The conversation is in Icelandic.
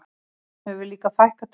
Þeim hefur líka fækkað töluvert